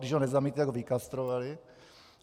Když ho nezamítli, tak ho vykastrovali.